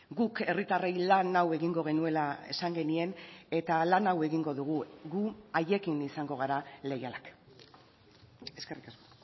guk herritarrei lan hau egingo genuela esan genien eta lan hau egingo dugu gu haiekin izango gara leialak eskerrik asko